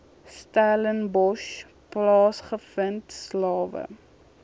stellenbosch plaasgevind slawe